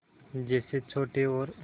जैसे छोटे और